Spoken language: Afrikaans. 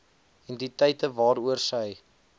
entiteite waaroor sy